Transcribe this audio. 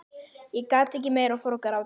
Ég gat ekki meir og fór að gráta.